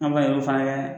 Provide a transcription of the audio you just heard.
An ba ye o fana kɛ